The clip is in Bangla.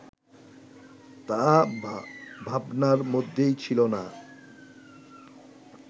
তা ভাবনার মধ্যেই ছিল না